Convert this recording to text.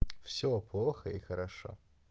всё плохо и хорошо